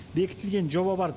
бекітілген жоба бар